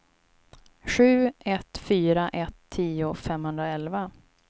sju ett fyra ett tio femhundraelva